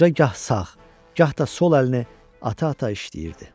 Qoca gah sağ, gah da sol əlini ata-ata işləyirdi.